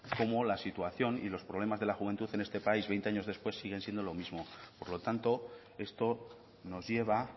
cómo la situación y los problemas de la juventud en este país veinte años después siguen siendo lo mismo por lo tanto esto nos lleva